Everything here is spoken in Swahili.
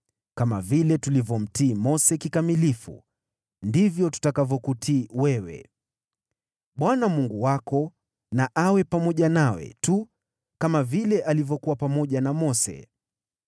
Kama vile tulivyomtii Mose kikamilifu, ndivyo tutakavyokutii wewe. Bwana Mungu wako na awe pamoja nawe tu kama vile alivyokuwa pamoja na Mose.